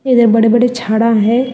इधर बड़े बड़े छाड़ा है।